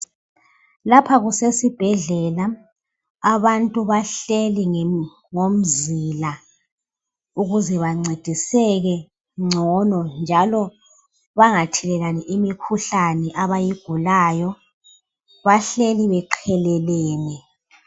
Lapha kusesibhedlela, abantu bahleli ngomzila, ukuze bancediseke ngcono njalo bangathelelani imikhuhlane abayigulayo, bahleli beqhelelene.